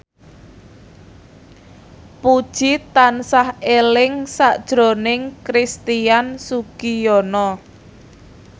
Puji tansah eling sakjroning Christian Sugiono